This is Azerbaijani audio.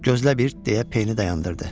Gözlə bir, deyə Peynı dayandırdı.